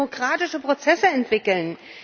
Wie kann man demokratische Prozesse entwickeln?